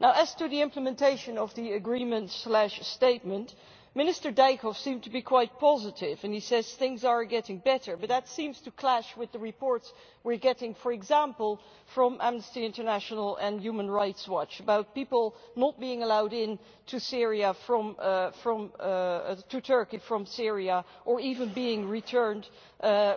As to the implementation of the agreement statement, Minister Dijkhoff seemed to be quite positive when he says things are getting better, but that seems to clash with the reports we are getting, for example, from Amnesty International and Human Rights Watch about people not being allowed into Turkey from Syria, or even being returned